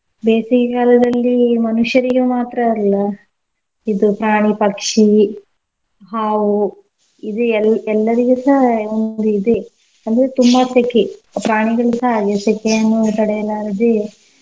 ಬೇಸಿಗೆ ಕಾಲದಲ್ಲಿ ಮನುಷ್ಯರಿಗೆ ಮಾತ್ರ ಅಲ್ಲ ಇದು ಪ್ರಾಣಿ, ಪಕ್ಷಿ, ಹಾವು ಇದೆ ಎಲ್ಲ್~ ಎಲ್ಲರಿಗೂಸ ಒಂದ್ ಇದೇ ಅಂದ್ರೆ ತುಂಬಾ ಸೆಖೆ ಪ್ರಾಣಿಗಳಿಗುಸ ಅದೆ ಸೆಖೆಯನ್ನು ತಡೆಯಲಾರದೇ.